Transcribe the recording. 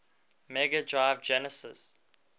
mega drive genesis